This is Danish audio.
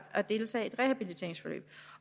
at deltage i et rehabiliteringsforløb